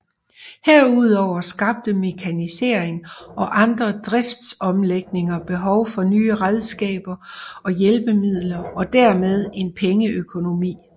Herudover skabte mekanisering og andre driftsomlægninger behov for nye redskaber og hjælpemidler og dermed en pengeøkonomi